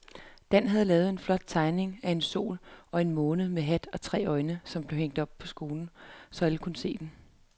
Dan havde lavet en flot tegning af en sol og en måne med hat og tre øjne, som blev hængt op i skolen, så alle kunne se den.